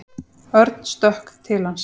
Örn stökk til hans.